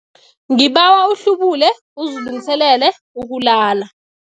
Ngibawa uhlubule uzilungiselele ukulala.